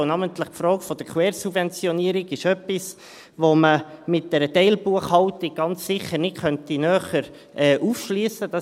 Denn namentlich die Frage der Quersubventionierung ist etwas, das man mit einer Teilbuchhaltung ganz sicher nicht näher aufschliessen könnte.